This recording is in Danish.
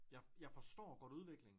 Jeg jeg forstår godt udviklingen